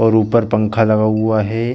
और ऊपर पंखा लगा हुआ हैं ।